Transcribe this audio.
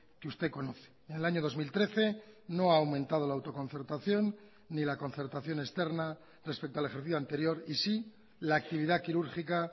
que usted conoce en el año dos mil trece no ha aumentado la autoconcertación ni la concertación externa respecto al ejercicio anterior y sí la actividad quirúrgica